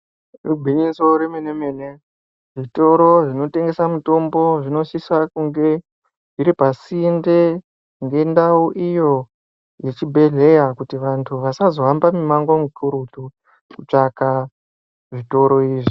Igwinyiso remene mene zvitoro zvinotengesa mitombo zvinosisa kunge zviri pasinde ngendau iyo yechibhedhleya, kuti vantu vasazohamba mwimwango mikurutu kutsvaka zvitoro izvi.